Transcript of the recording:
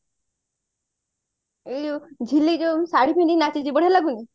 ଏଇ ଯୋଉ ଝିଲିକ ଯୋଉ ଶାଢୀ ପିନ୍ଧିକି ନାଚିଛି ବଢିଆ ଲାଗୁନି